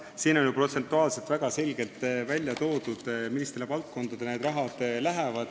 Siin on ju protsentuaalselt väga selgelt välja toodud, millistele valdkondadele see raha läheb.